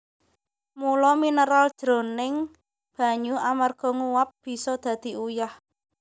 Mula mineral jroning banyu amarga nguap bisa dadi uyah